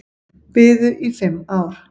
Biðu í fimm ár